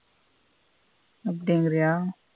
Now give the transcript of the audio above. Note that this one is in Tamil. அப்பிடிங்குறைய.